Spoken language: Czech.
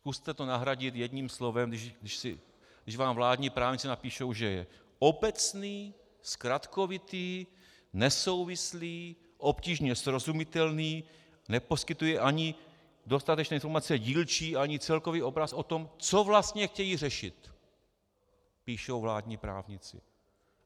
Zkuste to nahradit jedním slovem, když vám vládní právníci napíší, že je obecný, zkratkovitý, nesouvislý, obtížně srozumitelný, neposkytuje ani dostatečné informace dílčí, ani celkový obraz o tom, co vlastně chtějí řešit, píší vládní právníci.